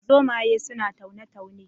Zomaye suna taune taune